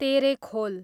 Terekhol